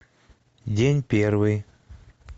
день первый